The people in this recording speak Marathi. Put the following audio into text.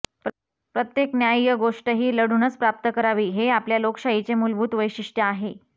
प्रत्येक न्याय्य गोष्टही लढूनच प्राप्त करावी हे आपल्या लोकशाहीचे मुलभूत वैशिष्ट्य झाले आहे